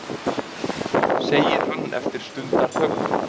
segir hann eftir stundarþögn.